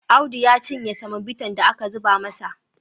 Audu ya cinye semobitan da aka zuba masa.